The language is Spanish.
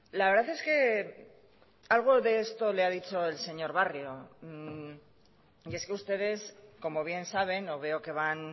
la verdad es que algo de esto le ha dicho el señor barrio y es que ustedes como bien saben o veo que van